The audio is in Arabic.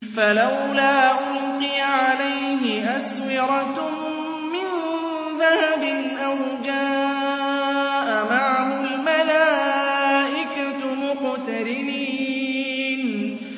فَلَوْلَا أُلْقِيَ عَلَيْهِ أَسْوِرَةٌ مِّن ذَهَبٍ أَوْ جَاءَ مَعَهُ الْمَلَائِكَةُ مُقْتَرِنِينَ